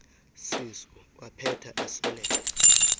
sisu waphetha esweleka